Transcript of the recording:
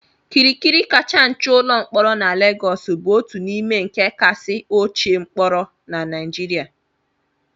Kirikiri kacha nche ụlọ mkpọrọ na Lagos bụ otu n'ime ndị kasị ochie mkpọrọ na Nigeria